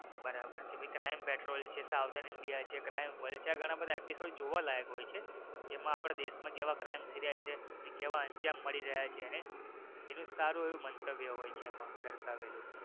બરાબર છે crime petrol છે સાવધાન ઇન્ડિયા છે આ બધા episode જોવા લાયક હોઈ છે કે જેમાં આપડા દેશ માં કેવા crime થઈ રહ્યા છે અને કેવા અંજામ મળી રહ્યા છે અને એનું સારું એવું મંતવ્ય હોઈ છે એમાં દર્શાવેલું.